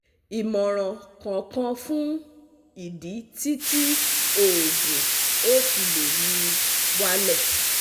Imoran kan kan fun idi ti ti oogun o file muwale